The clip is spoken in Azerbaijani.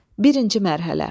Birinci mərhələ.